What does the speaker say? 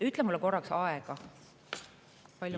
Ütle mulle korraks, palju mul aega on.